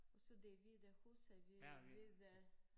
Og så det hvide huse hvid hvide